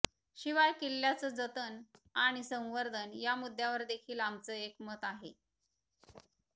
शिवाय किल्ल्यांचं जतन आणि संवर्धन या मुद्द्यावर देखील आमचं एकमत आहे